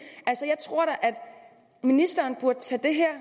ministeren burde tage det her